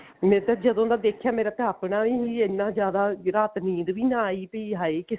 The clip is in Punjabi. ਮੇਰੇ ਤਾਂ ਜਦੋਂ ਦਾ ਦੇਖਿਆ ਮੇਰਾ ਤਾਂ ਆਪਣਾ ਹੀ ਇੰਨਾ ਜਿਆਦਾ ਰਾਤ ਨੀਦ ਵੀ ਆਈ ਵੀ ਹਾਏ ਕਿਸ